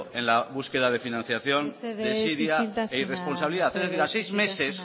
en la búsqueda de financiación mesedez isiltasuna desidia e irresponsabilidad a seis meses